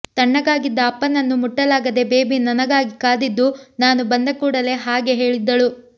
ತಣ್ಣಗಾಗಿದ್ದ ಅಪ್ಪನನ್ನು ಮುಟ್ಟಲಾಗದೇ ಬೇಬಿ ನನಗಾಗಿ ಕಾದಿದ್ದು ನಾನು ಬಂದಕೂಡಲೇ ಹಾಗೆ ಹೇಳಿದ್ದಳು